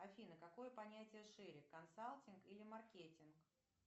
афина какое понятие шире консалтинг или маркетинг